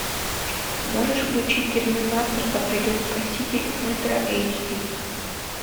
можешь включить терминатор да придет спаситель ультра эйч ди